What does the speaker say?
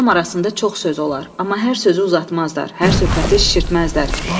Adam arasında çox söz olar, amma hər sözü uzatmazlar, hər söhbəti şişirtməzlər.